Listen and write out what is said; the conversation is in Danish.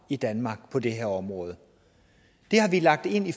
i danmark på det her område det har vi lagt ind i